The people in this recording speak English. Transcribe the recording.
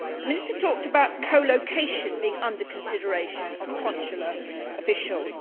The minister talked about co location being under consideration of consular officials.